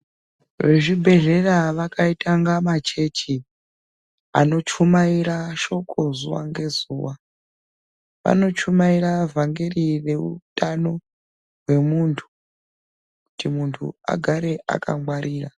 vezvibhedhlera Vakaita semachechi anochumaira shoko zuwa ngezuwa vanochimaira vangeri rehutano hwemuntu kuti muntu agare akangwarira.